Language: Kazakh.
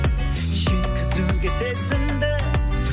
жеткізуге сезімді